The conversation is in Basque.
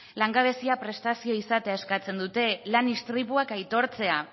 langabezia prestazioa izatea eskatzen dute lan istripuak aitortzea